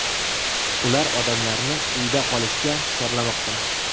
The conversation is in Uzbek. Ular odamlarni uyda qolishga chorlamoqda.